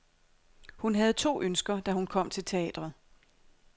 Hun havde to ønsker, da hun kom til teatret.